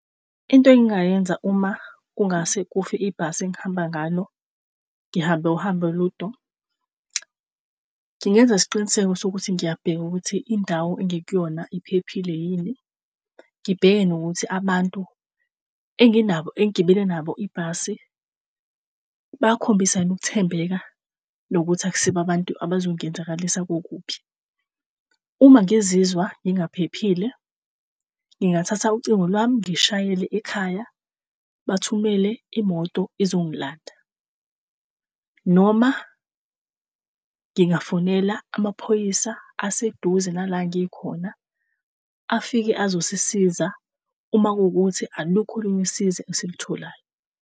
Into engingayenza uma kungase kufe ibhasi engihamba ngalo, ngihambe uhambe olude, ngingenza isiqiniseko sokuthi ngiyabheka ukuthi indawo engikuyona iphephile yini. Ngibheke nokuthi abantu enginabo engigibele nabo ibhasi bakhombisa yini ukuthembeka nokuthi akusibo abantu abazongenzakalisa kokubi. Uma ngizizwa ngingaphephile, ngingathatha ucingo lwami ngishayele ekhaya, bathumele imoto izongilanda. Noma ngingafonela amaphoyisa aseduze nala engikhona afike azosisiza uma kuwukuthi alukho olunye usizo esilitholayo.